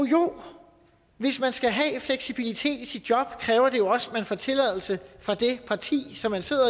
jo hvis man skal have fleksibilitet i sit job kræver det jo også at man får tilladelse fra det parti som man sidder